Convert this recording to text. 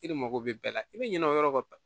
E de mago bɛ bɛɛ la i bɛ ɲinɛ o yɔrɔ kan